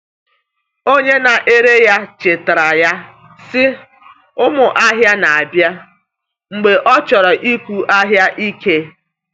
Onye na-ere ya chetaara ya, sị, “Ụmụ ahịa na-abịa,” mgbe ọ chọrọ ịkụ ahịa ike.